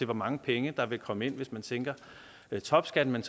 hvor mange penge der vil komme ind hvis man sænker topskatten men